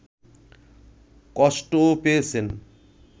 কষ্টও পেয়েছেন